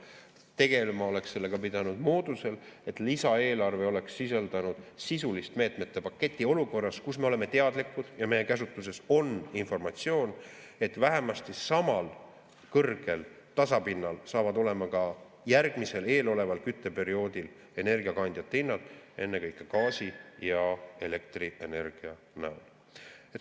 Tegelema oleks sellega pidanud moodusel, et lisaeelarve oleks sisaldanud sisulist meetmete paketti olukorras, kus me oleme teadlikud ja meie käsutuses on informatsioon, et vähemasti sama kõrgel tasapinnal saavad olema ka järgmisel, eeloleval kütteperioodil energiakandjate hinnad ennekõike gaasi ja elektrienergia näol.